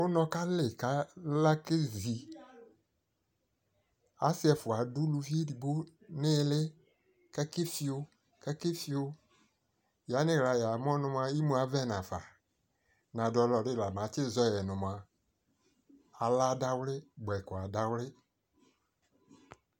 ɛvɛ lɛ ʋsii li, asii dini kanɔlʋ nʋ ʋsiiɛ li ka atani azɛ ɛlʋtɛ kʋ atani akɔlʋ kʋ atani ka vli ʋsiiɛ